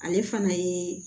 Ale fana ye